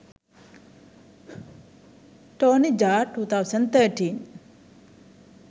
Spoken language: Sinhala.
tony jaa 2013